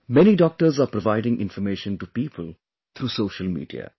Many doctors are providing information to people through social media